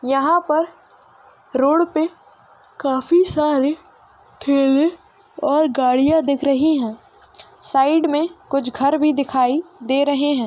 यहाँ पर रोड पे (पर) काफी सारे ठेले और गाडियाँ दिख रही है| साइड में कुछ घर भी दिखाई दे रहे है।